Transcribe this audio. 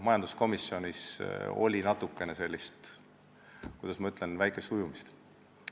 Majanduskomisjonis oli, kuidas ma ütlen, väikest ujumist.